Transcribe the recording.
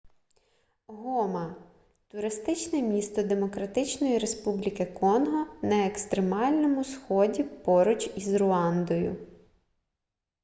гома туристичне місто демократичної республіки конго на екстремальному сході поруч із руандою